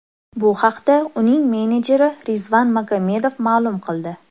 Bu haqda uning menejeri Rizvan Magomedov ma’lum qildi .